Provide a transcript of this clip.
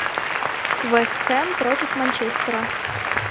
вест хэм против манчестера